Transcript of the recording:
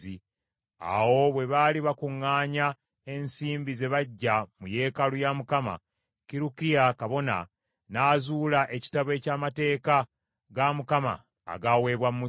Awo bwe baali bakuŋŋaanya ensimbi ze baggya mu yeekaalu ya Mukama , Kirukiya kabona, n’azuula ekitabo eky’amateeka ga Mukama agaaweebwa Musa.